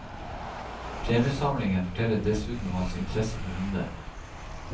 Premiesamlingen forteller dessuten om hans interesse for hunder.